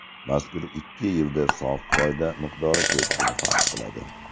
Mazkur ikki yilda sof foyda miqdori keskin farq qiladi.